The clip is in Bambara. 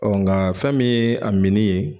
nga fɛn min ye a min ye